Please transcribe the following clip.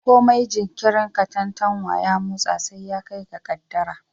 Komai jinkirin katantanwa ya motsa sai ya kai ga kaddara